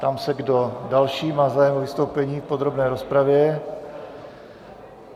Ptám se, kdo další má zájem o vystoupení v podrobné rozpravě.